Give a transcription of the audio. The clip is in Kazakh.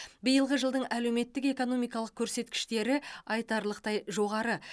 биылғы жылдың әлеуметтік экономикалық көрсеткіштері айтарлықтай жоғары